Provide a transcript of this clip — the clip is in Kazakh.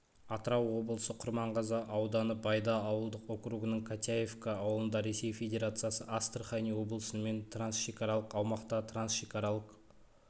атырау облысы құрманғазы ауданы байда ауылдық округінің котяевка ауылында ресей федерациясы астарахань облысымен трансшекаралық аумақта трансшекаралық